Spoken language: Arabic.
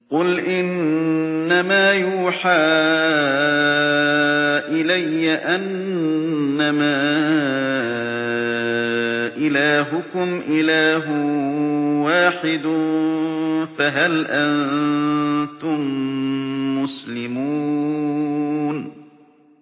قُلْ إِنَّمَا يُوحَىٰ إِلَيَّ أَنَّمَا إِلَٰهُكُمْ إِلَٰهٌ وَاحِدٌ ۖ فَهَلْ أَنتُم مُّسْلِمُونَ